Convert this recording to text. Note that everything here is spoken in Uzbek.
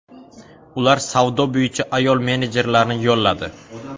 Ular savdo bo‘yicha ayol menejerlarni yolladi.